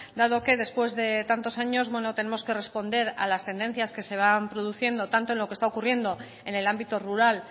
dado que después de tantos años tenemos que responder a las tendencias que se van produciendo tanto en lo que está ocurriendo en el ámbito rural